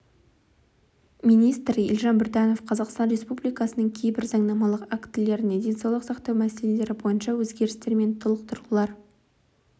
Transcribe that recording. министрі елжан біртанов қазақстан республикасының кейбір заңнамалық актілеріне денсаулық сақтау мәселелері бойынша өзгерістер мен толықтырулар